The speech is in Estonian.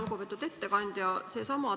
Lugupeetud ettekandja!